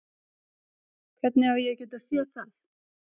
Hvernig á ég að geta séð það?